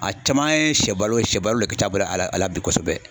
A caman ye shɛbalo shɛbalo le ka c'a bolo a la a la bi kosɛbɛ.